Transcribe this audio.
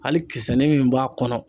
Hali kisɛnnin min b'a kɔnɔ.